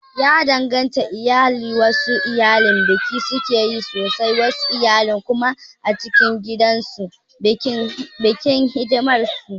Ya danganci iyali, wasu iyali biki sukeyi sosai wasu iyali kuma a cikin gida suke bikin hidimar su